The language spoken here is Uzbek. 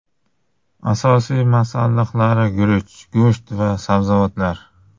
Asosiy masalliqlari guruch, go‘sht va sabzavotlar.